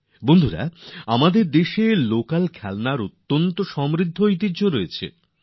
বন্ধুগণ আমাদের দেশে স্থানীয় খেলনার এক সমৃদ্ধ ঐতিহ্য রয়েছে